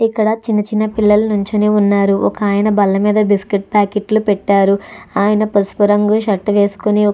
ఇక్కడ చిన్న చిన్న పిల్లలు నించుని ఉన్నారు వకాయమన బల్ల మీద బిస్కెట్ పాకెట్లు పెట్టారు ఆయన పసుపు రంగు షర్ట్ వేసుకుని --